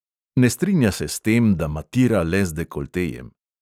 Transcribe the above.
Ne strinja se s tem, da matira le z dekoltejem.